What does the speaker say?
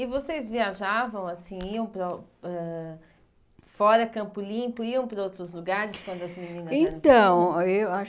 E vocês viajavam, assim, iam para ãh fora, Campo Limpo, iam para outros lugares quando as meninas eram pequenas? Então eu a